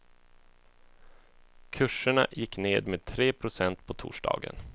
Kurserna gick ned med tre procent på torsdagen.